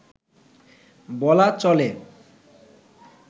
বলা চলে